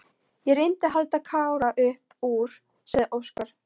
Ég reyndi að halda Kára upp úr, sagði Óskar.